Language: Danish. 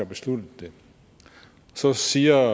besluttet det så siger